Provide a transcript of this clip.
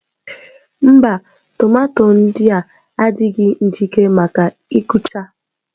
Mba, tomato ndị a adịghị njikere maka ịkụcha